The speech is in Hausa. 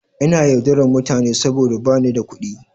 Ina yaudarar mutane saboda ba ni da kuɗi.